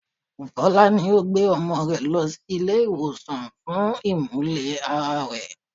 Fola ní òun gbé ọmọ rẹ lọ sí ilé ìwòsàn fún imule-ara rẹ.